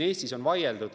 Eestis on küll vaieldud.